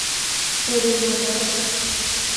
хорремабад